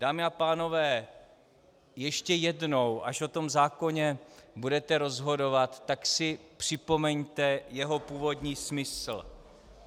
Dámy a pánové, ještě jednou, až o tom zákoně budete rozhodovat, tak si připomeňte jeho původní smysl.